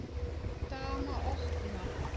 Dama opnar.